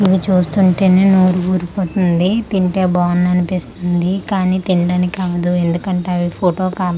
ఇవి చూస్తుంటెనె నోరు ఊరిపోతుంది తింటే బాగున్నన్పిస్తుంది కానీ తిన్దానికి అవ్వదు ఎందుకంటె అవి ఫొటో కాబ--